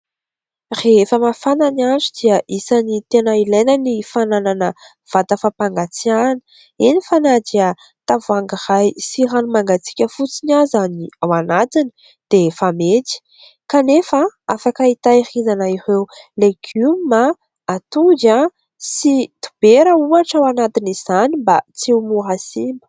Rehefa mafana ny andro dia isany tena ilaina ny fananana vata fampangatsiahana. Eny, fa na dia tavoahangy sy rano mangatsiaka fotsiny aza ny ao anatiny dia fa mety ; kanefa afaka hitehirizana ireo legioma, atody sy dobera ohatra ao anatina izany mba tsy ho simba.